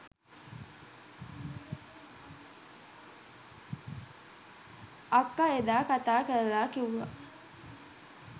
අක්ක එදා කතා කරලා කිව්වා